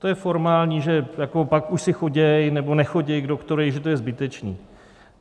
To je formální, že pak už si chodí nebo nechodí k doktorovi, že to je zbytečné.